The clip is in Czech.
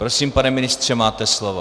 Prosím, pane ministře, máte slovo.